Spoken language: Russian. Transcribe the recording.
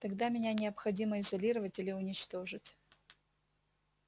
тогда меня необходимо изолировать или уничтожить